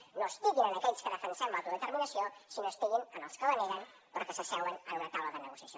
que no estiguin en aquells que defensem l’autodeterminació sinó que estiguin en els que la neguen però que s’asseuen en una taula de negociació